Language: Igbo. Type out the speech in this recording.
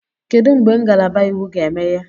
Kedu mgbe ngalaba Iwu ga-emeghe?